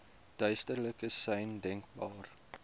duidelikste sein denkbaar